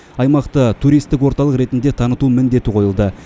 аймақты туристік орталық ретінде таныту міндеті қойылды